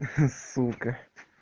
ха сука